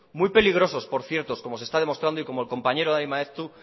muy peligrosos por cierto como se está demostrando y como el compañero dani maeztu